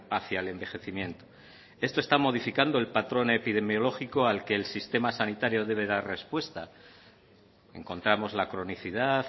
hacia el envejecimiento eso está modificando el patrón epidemiológico al que el sistema sanitario debe dar respuesta encontramos la cronicidad